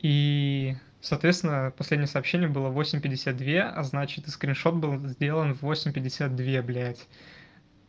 и соответственно последнее сообщение было в восемь пятьдесят две а значит и скриншот был сделан в восемь пятьдесят две блядь